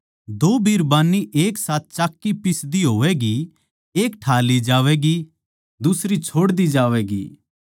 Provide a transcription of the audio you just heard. दो बिरबान्नी एक साथ चाक्की पीसदी होवैगी एक ठा ली जावैगी अर दुसरी छोड़ दी जावैगी